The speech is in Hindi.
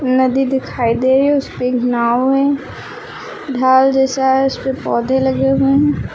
नदी दिखाई दे रही है उसपे एक नांव है ढाल जैसा है उसपे पौधे लगे हुए हैं।